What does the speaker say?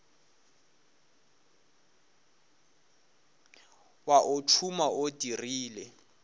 wa o tšhuma o dirile